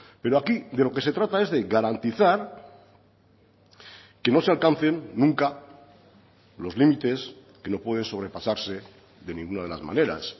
pero aquí de lo que se trata es de garantizar que no se alcancen nunca los límites que no pueden sobrepasarse de ninguna de las maneras